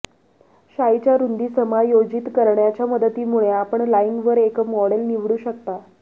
शाईच्या रुंदी समायोजित करण्याच्या मदतीमुळे आपण लाईंगवर एक मॉडेल निवडू शकता